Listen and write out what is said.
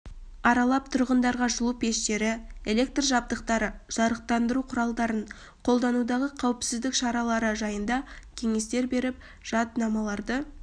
аралап тұрғындарға жылу пештері электр жабдықтары жарықтандыру құралдарын қолданудағы қауіпсіздік шаралары жайында кеңестер беріп жаднамаларды